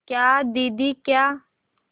क्या दीदी क्या